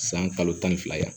San kalo tan ni fila yan